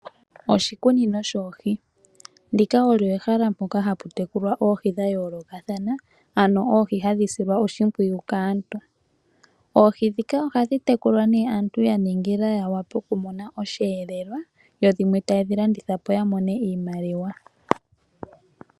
Oshikunino shoohi olyo ehala mpoka hamu tekulwa oohi dhayoolokathana, ano oohi hadhi silwa oshipwiyu kaantu. oohi dhika ohadhi tekulwa dha ningilwa, aantu ya wape oku mona oshiyeelwa ,dho dhimwe ya kedhi landithapo, ya mone iimaliwa.